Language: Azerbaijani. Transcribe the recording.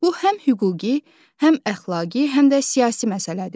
Bu həm hüquqi, həm əxlaqi, həm də siyasi məsələdir.